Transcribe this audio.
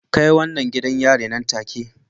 Kai wannan gidan yari nan take